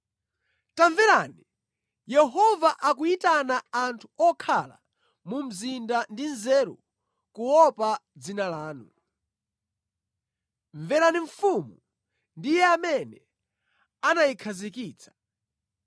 Tamverani! Yehova akuyitana anthu okhala mu mzinda ndi nzeru kuopa dzina lanu. “Mverani mfumu ndi Iye amene anayikhazikitsa.